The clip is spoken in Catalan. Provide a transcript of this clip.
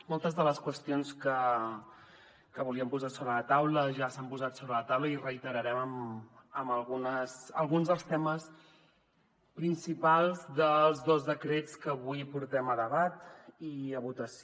moltes de les qüestions que volíem posar sobre la taula ja s’han posat sobre la taula i reiterarem alguns dels temes principals dels dos decrets que avui portem a debat i a votació